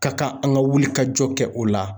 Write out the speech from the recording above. Ka kan an ka wuli ka jɔ kɛ o la.